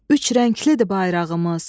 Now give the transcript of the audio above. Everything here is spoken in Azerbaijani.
Üç rənglidir bayrağımız.